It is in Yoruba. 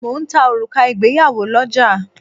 Mo ń ta òrùka ìgbéyàwó lọ́ja